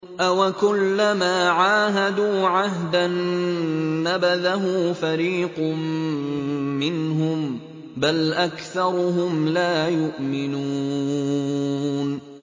أَوَكُلَّمَا عَاهَدُوا عَهْدًا نَّبَذَهُ فَرِيقٌ مِّنْهُم ۚ بَلْ أَكْثَرُهُمْ لَا يُؤْمِنُونَ